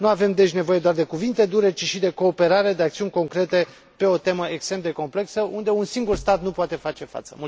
Nu avem deci nevoie doar de cuvinte dure, ci și de cooperare, de acțiuni concrete pe o temă extrem de complexă, unde un singur stat nu poate face față.